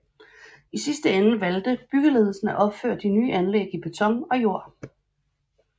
I sidste ende valgte byggeledelsen af opføre de nye anlæg i beton og jord